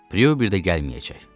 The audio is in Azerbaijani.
Prue bir də gəlməyəcək.